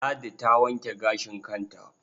Ladi ta wanke gashin kanta.